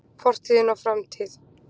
Fortíð og framtíð.